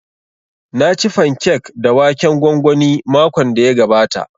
Na ci fankek da waken gwangwani makon da ya gabata